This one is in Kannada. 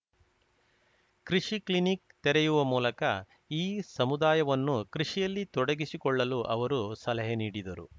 ಕೃಷಿ ಕ್ಲಿನಿಕ್‌ ತೆರೆಯುವ ಮೂಲಕ ಈ ಸಮುದಾಯವನ್ನು ಕೃಷಿಯಲ್ಲಿ ತೊಡಗಿಸಿಕೊಳ್ಳಲು ಅವರು ಸಲಹೆ ನೀಡಿದರು